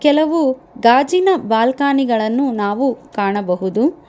ಕೆಲವು ಗಾಜಿನ ಬಾಲ್ಕನಿ ಗಳನ್ನು ನಾವು ಕಾಣಬಹುದು.